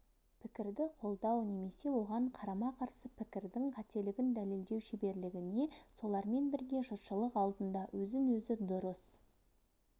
пікірді қолдау немесе оған қарама-қарсы пікірдің қателігін дәлелдеу шеберлігіне солармен бірге жұртшылық алдында өзін-өзі дұрыс